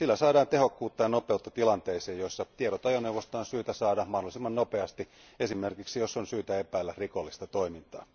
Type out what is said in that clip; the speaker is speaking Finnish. Sillä saadaan tehokkuutta ja nopeutta tilanteisiin, joissa tiedot ajoneuvosta on syytä saada mahdollisimman nopeasti esimerkiksi, jos on syytä epäillä rikollista toimintaa.